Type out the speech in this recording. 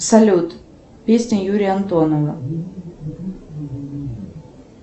салют песни юрия антонова